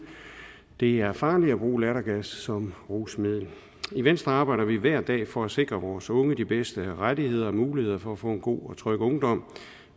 det er farligt at bruge lattergas som rusmiddel i venstre arbejder vi hver dag for at sikre vores unge de bedste rettigheder og muligheder for at få en god og tryg ungdom